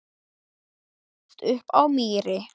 Kristín ólst upp á Mýri.